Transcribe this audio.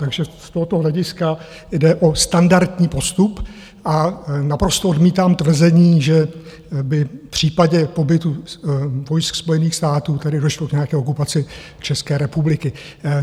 Takže z tohoto hlediska jde o standardní postup a naprosto odmítám tvrzení, že by v případě pobytu vojsk Spojených států tady došlo k nějaké okupaci České republiky.